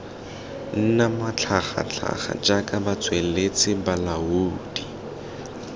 nna matlhagatlhaga jaaka batsweletsi balaodi